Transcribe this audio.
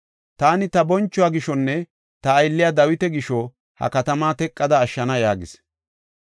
Taani ta bonchuwa gishonne ta aylliya Dawita gisho, ha katama teqada ashshana” yaagis.